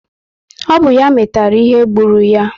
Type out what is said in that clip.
Ọ bụ ya metara ihe gbulu ya